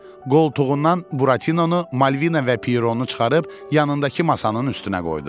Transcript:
Qoltuğundan Buratinonu, Malvina və Pieronu çıxarıb yanındakı masanın üstünə qoydu.